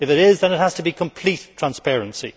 If it is, then it has to be complete transparency.